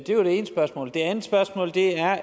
var det ene spørgsmål det andet spørgsmål er